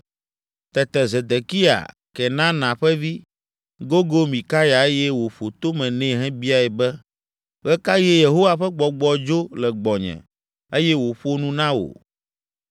Tete Zedekiya, Kenana ƒe vi, gogo Mikaya eye wòƒo tome nɛ hebiae be, “Ɣe ka ɣie Yehowa ƒe Gbɔgbɔ dzo le gbɔnye eye wòƒo nu na wò?”